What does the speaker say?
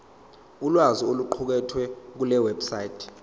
ulwazi oluqukethwe kulewebsite